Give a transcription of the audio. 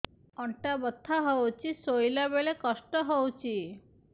ଅଣ୍ଟା ବଥା ହଉଛି ଶୋଇଲା ବେଳେ କଷ୍ଟ ହଉଛି